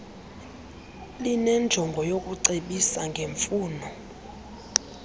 linenjongo yokucebisa ngemfuno